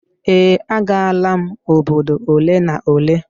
Ee, agaala m obodo ole na ole